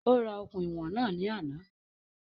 Ó ra okùn ìwọ̀n náà ní àná